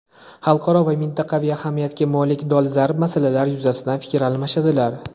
xalqaro va mintaqaviy ahamiyatga molik dolzarb masalalar yuzasidan fikr almashadilar.